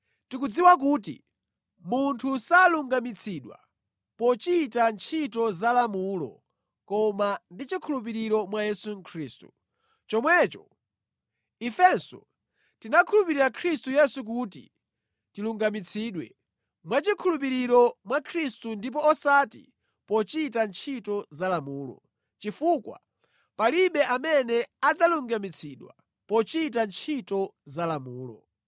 tikudziwa kuti munthu salungamitsidwa pochita ntchito za lamulo koma ndi chikhulupiriro mwa Yesu Khristu. Chomwecho, ifenso tinakhulupirira Khristu Yesu kuti tilungamitsidwe mwachikhulupiriro mwa Khristu ndipo osati pochita ntchito za lamulo, chifukwa palibe amene adzalungamitsidwa pochita ntchito za lamulo.